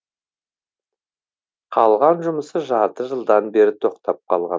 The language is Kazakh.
қалған жұмысы жарты жылдан бері тоқтап қалған